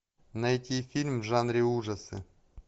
найти фильм в жанре ужасы